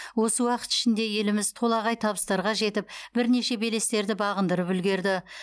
осы уақыт ішінде еліміз толағай табыстарға жетіп бірнеше белестерді бағындырып үлгерді